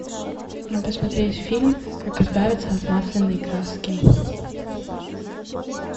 посмотреть фильм как избавиться от масляной краски